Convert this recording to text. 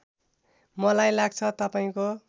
मलाई लाग्छ तपाईँको